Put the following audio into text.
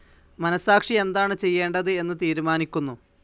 മനസാക്ഷി എന്താണ് ചെയ്യേണ്ടത് എന്ന് തീരുമാനിക്കുന്നു.